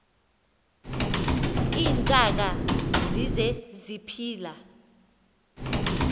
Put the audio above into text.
iintaka zise ziphila